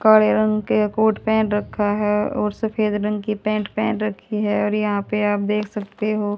काले रंग के कोट पहन रखा है और सफेद रंग की पैंट पहन रखी है और यहां पे आप देख सकते हो--